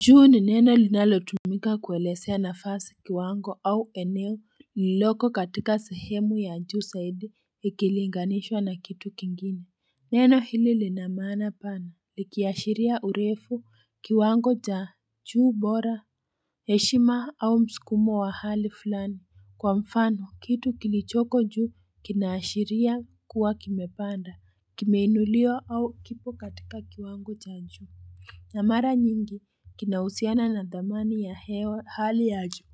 Juu ni neno linalotumika kuwelezea nafasi kiwango au eneo lililoko katika sehemu ya juu zaidi ikilinganishwa na kitu kingine Neno hili lina maana pana likiashiria urefu kiwango cha juu bora heshima au mskumo wa hali fulani Kwa mfano kitu kilichoko juu kinaashiria kuwa kimepanda kimeinuliwa au kipo katika kiwango ja juu na mara nyingi kinahusiana na dhamani ya hewa hali ya juu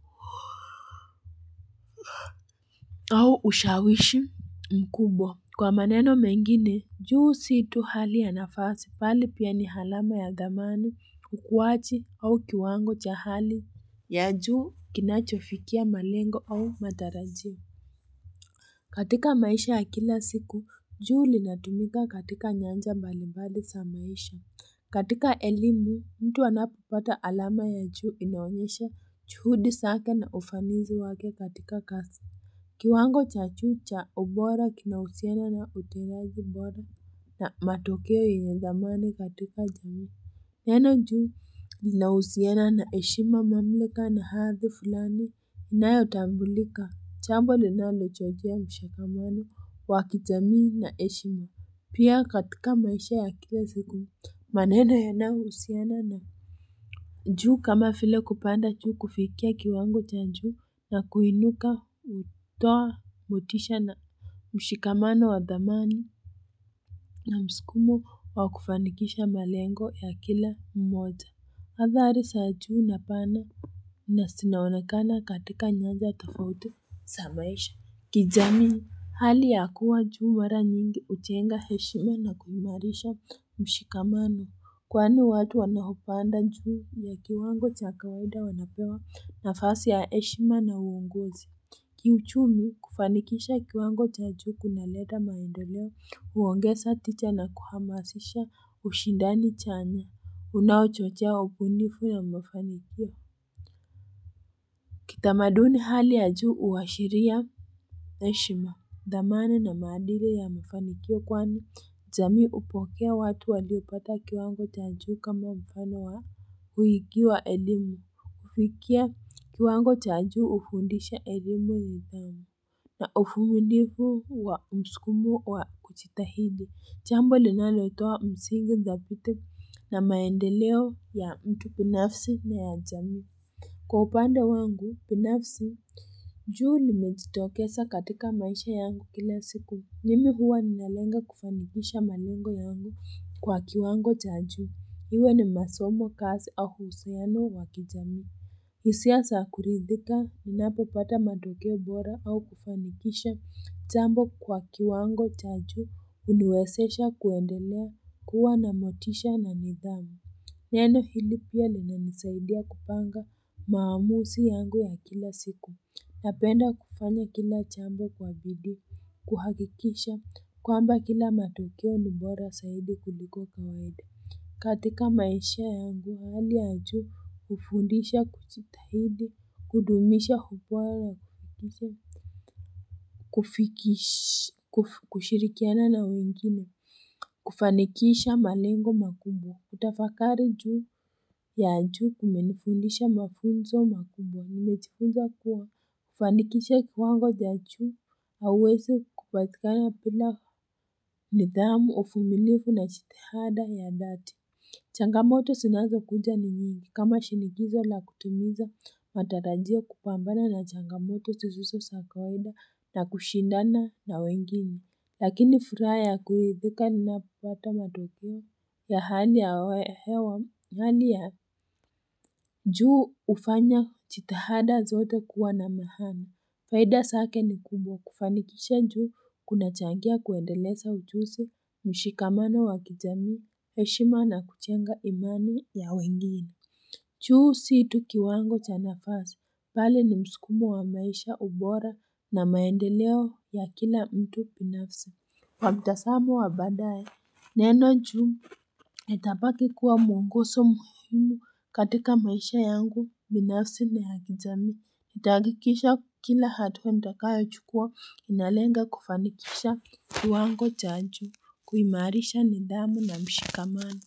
au ushawishi mkubwa Kwa maneno mengine juu si tu hali ya nafasi bali pia ni alama ya dhamani ukuwaji au kiwango cha hali ya juu kinachofikia malengo au matarajio katika maisha ya kila siku juu linatumika katika nyanja mbalimbali za maisha katika elimu, mtu anapopata alama ya juu inaonyesha juhudi zake na ufanisi wake katika kazi. Kiwango cha juu cha ubora kina uhusiano na utendaji bora na matokeo yaandamane katika jamii. Neno juu linahusiana na heshima mamlaka na hadhi fulani inayotambulika jambo linalochangia mshikamano wa kijamii na heshima. Pia katika maisha ya kila siku. Maneno yanaohusiana na juu kama vile kupanda juu kufikia kiwango cha juu na kuinuka hutoa motisha na mshikamano wa dhamani na mskumo wa kufanikisha malengo ya kila mmoja Hadhari za juu napana na zinaonekana katika nyanja tofauti za maisha. Kijami hali ya kuwa juu mara nyingi hujenga heshima na kuimarisha mshikamano Kwani watu wanaopanda juu ya kiwango cha kawaida wanapewa nafasi ya heshima na uongozi. Kiuchumi kufanikisha kiwango cha juu kunaleta maendeleo, huongeza tija na kuhamasisha ushindani chanya. Unaochochea ubunifu ya mafanikio. Kitamaduni hali ya juu huwashiria heshima. Dhamani na maadili ya mafanikio kwani, jami hupokea watu waliopata kiwango chaa juu kama mfano wa huiki wa elimu. Kufikia kiwango cha juu hufundisha elimu na nidhamu na uvumilivu wa msukumo wa kujitahidi. Jambo linalotoa msingi dhabiti na maendeleo ya mtu binafsi na ya jamii. Kwa upande wangu, binafsi, juu nimejitokeza katika maisha yangu kila siku. Mimi huwa ninalenga kufanikisha malengo yangu kwa kiwango cha juu. Iwe ni masomo, kazi au uhusiano wa kijamii. Hisia za kuridhika, ninapopata matokeo bora au kufanikisha. Jambo kwa kiwango cha juu, huniwezesha kuendelea kuwa na motisha na nidhamu. Neno hili pia linanisaidia kupanga maamuzi yangu ya kila siku Napenda kufanya kila jambo kwa bidii kuhakikisha kwamba kila matokeo ni bora zaidi kuliko kawaida katika maisha yangu hali ya juu hufundisha kujitahidi kudumisha kushirikiana na wengine kufanikisha malengo makubwa kutafakari juu ya juu kumenifundisha mafunzo makubwa. Nimejifunza kuwa kufanikisha kiwango cha juu. Huwezi kupatikana bila nidhamu uvumilivu na jitihada ya dhati. Changamoto zinazo kuja ni nyingi. Kama shinikizo la kutimiza matarajio kupambana na changamoto zisizo za kawaida na kushindana na wengine. Lakini furaha ya kuridhika ninapopata matokeo ya hani ya we hewa hali ya juu hufanya jitihada zote kuwa na maana. Faida zake ni kubwa kufanikisha juu kunachangia kuendeleza ujuzi, mshikamano wa kijami, heshima na kujenga imani ya wengine. Juu si tu kiwango cha nafasi. Bali ni mskumo wa maisha ubora na maendeleo ya kila mtu binafsi. Kwa mtazamo wa badae neno juu nitabaki kuwa mwongozo muhimu katika maisha yangu binafsi na ya kijamii. Nitahakikisha kila hatua ntakayo chukua inalenga kufanikisha kiwango cha juu kuimarisha nidhamu na mshikamano.